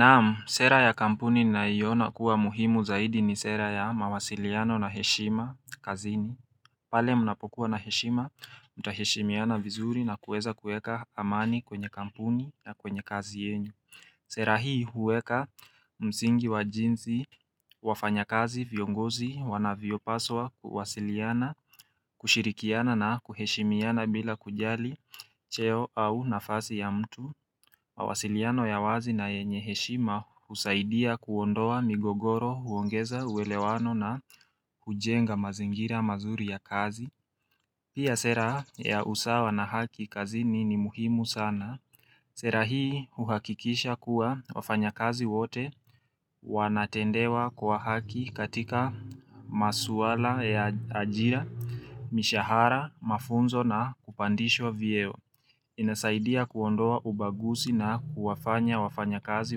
Naam sera ya kampuni ninayoiona kuwa muhimu zaidi ni sera ya mawasiliano na heshima kazini pale mnapokuwa na heshima mtaheshimiana vizuri na kuweza kuweka amani kwenye kampuni na kwenye kazi yenyu Sera hii huweka msingi wa jinsi wafanyakazi viongozi wanavyopaswa kuwasiliana kushirikiana na kuheshimiana bila kujali cheo au nafasi ya mtu, mawasiliano ya wazi na yenye heshima husaidia kuondoa migogoro huongeza uelewano na hujenga mazingira mazuri ya kazi. Pia sera ya usawa na haki kazini ni muhimu sana. Sera hii uhakikisha kuwa wafanyakazi wote wanatendewa kwa haki katika masuala ya ajira, mishahara, mafunzo na kupandishwa vyeo. Inasaidia kuondoa ubaguzi na huwafanya wafanyakazi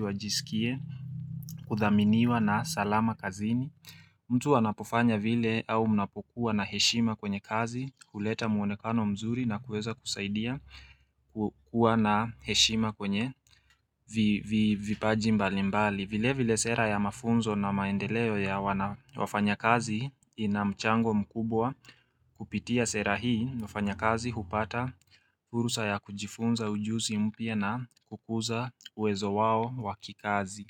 wajisikie kuthaminiwa na salama kazini mtu anapofanya vile au mnapokuwa na heshima kwenye kazi huleta muonekano mzuri na kuweza kusaidia kuwa na heshima kwenye vipaji mbali mbali vile vile sera ya mafunzo na maendeleo ya wafanyakazi ina mchango mkubwa Kupitia sera hii wafanyakazi hupata fursa ya kujifunza ujuzi mpya na kukuza uwezo wao wa kikazi.